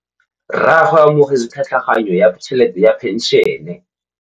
Rragwe o amogetse tlhatlhaganyô ya tšhelête ya phenšene.